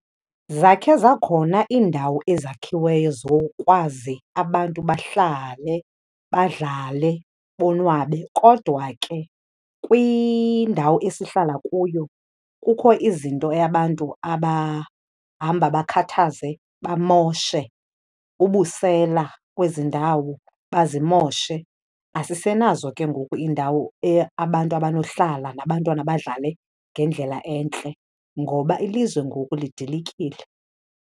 Zakhe zakhona iindawo ezakhiweyo zokwazi abantu bahlale, badlale, bonwabe kodwa ke kwindawo esihlala kuyo kukho izinto abantu abahamba bakhathaze bamoshe, ubusela kwezi ndawo, bazimoshe. Asisenazo ke ngoku iindawo abantu abanohlala nabantwana badlale ngendlela entle ngoba ilizwe ngoku lidilikile.